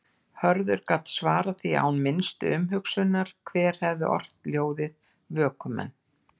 Hörður gat svarað því án minnstu umhugsunar hver hefði ort ljóðið Vökumenn.